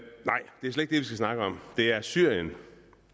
skal snakke om det er syrien